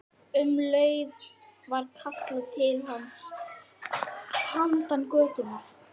Um leið var kallað til hans handan götunnar.